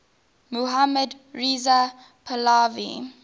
mohammad reza pahlavi